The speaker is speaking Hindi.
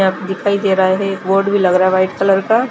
यहाँ पे दिखाई दे रहा है बोर्ड भी लग रहा है वाइट कलर का--